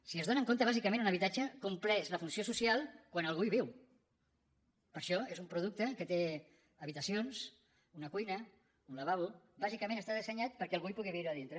si se n’adonen bàsicament un habitatge compleix la funció social quan algú hi viu per això és un producte que té habitacions una cuina un lavabo bàsicament està dissenyat perquè algú hi pugui viure a dintre